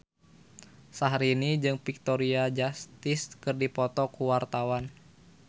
Syahrini jeung Victoria Justice keur dipoto ku wartawan